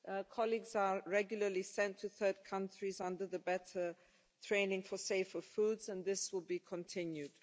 Colleagues are regularly sent to third countries under the better training for safer foods', and this will be continued.